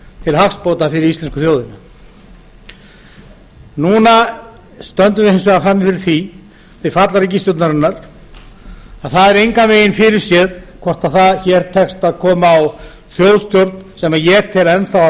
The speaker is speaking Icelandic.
til hagsbóta fyrir íslensku þjóðina núna stöndum við hins vegar frammi fyrir því við fall ríkisstjórnarinnar að það er engan veginn fyrirséð hvort hér tekst að koma á þjóðstjórn sem ég tel enn þá að